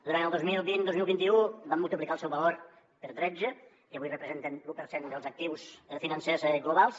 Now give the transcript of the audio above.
durant el dos mil vint dos mil vint u van multiplicar el seu valor per tretze i avui representen l’u per cent dels actius financers globals